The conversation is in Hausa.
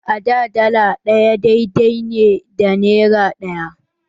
Da, dala ɗaya daidai ne da nera ɗaya.